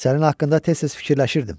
Sənin haqqında tez-tez fikirləşirdim.